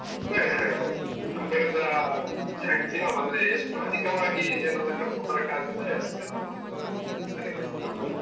ಸರಿ ಸರಿ ಸರಿ. ನಮ್ ಕಡೆಯಿಂದ maximum ಅಂದ್ರೆ ಎಷ್ಟು ಅಧಿಕವಾಗಿ ಜನರನ್ನ ಕರ್ಕೊಂಡು ಬರೊಕ್ಕ್ ಆಗತ್ತೆ ಅಷ್ಟ್ ಜನರನ್ನ ನಾನು ಕರ್ಕೊಂಡು